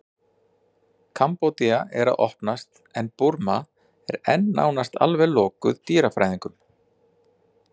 kambódía er að opnast en burma er enn nánast alveg lokuð dýrafræðingum